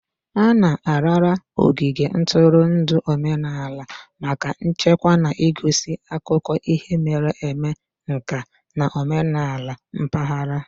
A na-arara ogige ntụrụndụ omenala maka ichekwa na igosi akụkọ ihe mere eme, nka na omenala mpaghara.